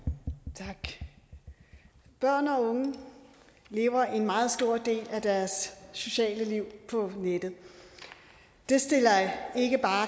tak børn og unge lever en meget stor del af deres sociale liv på nettet det stiller ikke bare